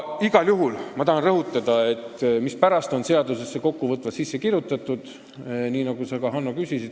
Igal juhul ma tahan rõhutada seda, mispärast on see kõik seadusesse kokkuvõtvalt sisse kirjutatud, mille kohta sa, Hanno, ka küsisid.